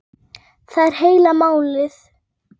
Þetta skýrist betur síðar.